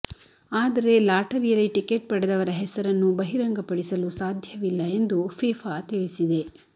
ಆದರೆ ಲಾಟರಿಯಲ್ಲಿ ಟಿಕೆಟ್ ಪಡೆದರ ಹೆಸರನ್ನು ಬಹಿರಂಗಪಡಿಲು ಸಾಧ್ಯವಿಲ್ಲ ಎಂದು ಫಿಫಾ ತಿಳಿಸಿದೆ